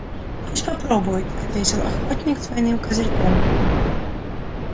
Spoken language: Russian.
пусть попробует ответил охотник с двойным козырьком